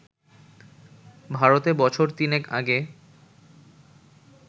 ভারতে বছর তিনেক আগে